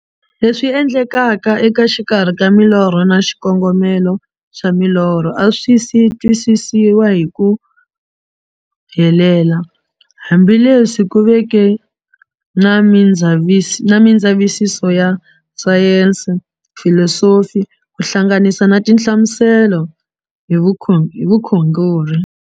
Leswi endlekaka eka xikarhi ka milorho na xikongomelo xa milorho a swi si twisisiwa hi ku helela, hambi leswi ku veke na mindzavisiso ya sayensi, filosofi ku hlanganisa na tinhlamuselo hi vukhongori.